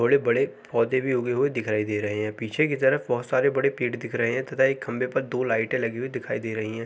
थोड़े बड़े पौधे भी उगे हुए दिखाए दे रहे है। पीछे की तरफ बोहोत सारे बड़े पेड़ दिख रहे हैं तथा एक खम्बे पे दो लाइटें लगी हुई दिखाई दे रही हैं।